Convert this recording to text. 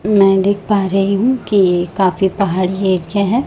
मैं देख पा रही हूं कि काफी पहाड़ी एरिया है।